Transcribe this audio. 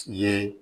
Ye